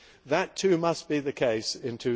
That too must be the case in